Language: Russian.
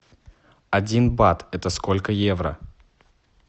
один бат это сколько евро